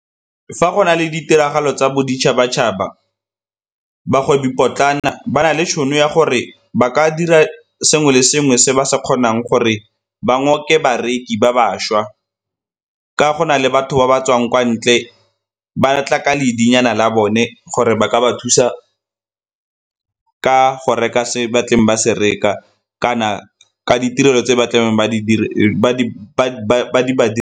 Fa go na le ditiragalo tsa boditšhabatšhaba, bagwebi potlana ba na le tšhono ya gore ba ka dira sengwe le sengwe se ba se kgonang gore ba ngoke bareki ba bašwa ka go na le batho ba ba tswang kwa ntle ba tla ka nyana la bone gore ba ka ba thusa ka go reka se batleng ba se reka kana ka ditirelo tse ba tlebeng ba di .